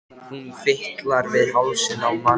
Hún fitlar við hálsinn á manninum.